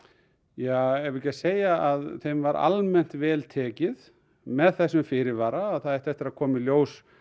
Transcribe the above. ja eigum við ekki bara að segja að þeim var almennt vel tekið með þessum fyrirvara að það ætti eftir að koma í ljós